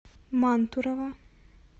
мантурово